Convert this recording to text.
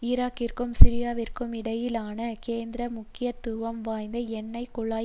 ஈராக்கிற்கும் சிரியாவிற்கும் இடையிலான கேந்திர முக்கியத்துவம் வாய்ந்த எண்ணெய் குழாய்